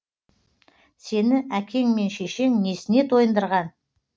сені әкең мен шешең несіне тойындырған